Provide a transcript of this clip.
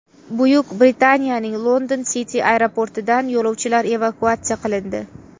Buyuk Britaniyaning London City aeroportidan yo‘lovchilar evakuatsiya qilindi.